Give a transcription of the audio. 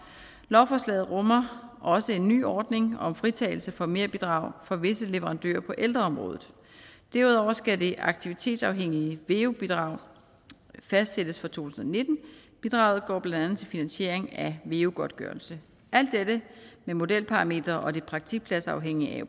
lovforslaget rummer også en ny ordning om fritagelse for merbidrag for visse leverandører på ældreområdet derudover skal det aktivitetsafhængige veu bidrag fastsættes for to tusind og nitten bidraget går blandt andet til finansiering af veu godtgørelse alt dette med modelparametre og det praktikpladsafhængige